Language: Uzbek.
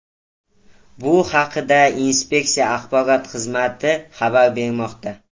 Bu haqda inspeksiya axborot xizmati xabar bermoqda .